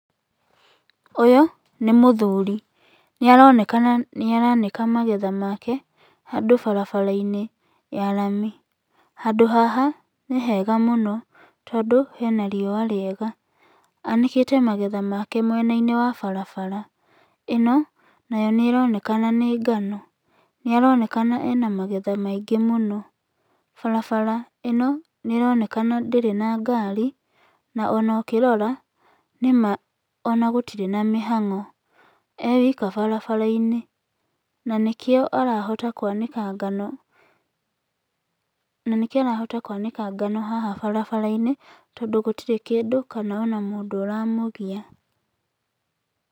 Ũyũ nĩ mũthuri. Nĩ aronekana nĩ aranĩka magetha make handũ barabara-inĩ ya rami. Handũ haha nĩ hega mũno tondũ hena riũa rĩega. Anĩkĩte magetha make mwena-inĩ wa barabara. Ĩno nayo nĩ ĩronekana nĩ ngano. Nĩ aronekana ena magetha maingĩ mũno. Barabara ĩno nĩ ĩronekana ndĩrĩ na ngari na ona ũkĩrora, nĩ ma ona gũtirĩ na mĩhang'o. E wika barabara-inĩ na nĩkĩo arahota kwanĩka ngano, na nĩkĩo arahota kwanĩka ngano haha barabara-inĩ tondũ gũtirĩ kĩndũ kana ona mũndũ ũramũgia.